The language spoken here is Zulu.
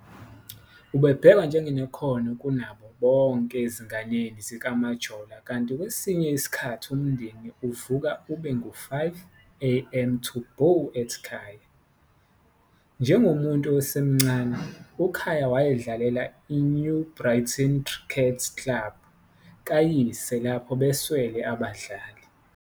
Ubebhekwa njengonekhono kunabo bonke ezinganeni zikaMajola, kanti kwesinye isikhathi umndeni uvuka ube ngu-5 am to bow at Khaya. Njengomuntu osemncane, uKhaya wayedlalela i-New Brighton Cricket Club kayise lapho beswele abadlali.